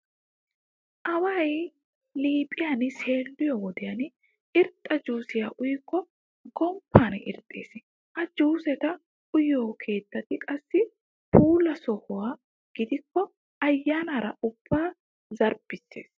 Away liiphiyan seelliyo wodiyan irxxa juusiya uyikko gomppan irxxees. Ha juuseta uyiyo keettati qassi puula sohota gidikko ayyaanaara ubbaa zarbbissees.